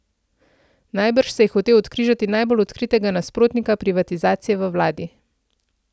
Najbrž se je hotel odkrižati najbolj odkritega nasprotnika privatizacije v vladi.